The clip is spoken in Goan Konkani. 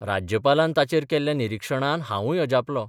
राज्यपालान ताचेर केल्ल्या निरीक्षणान हावूय अजापलों.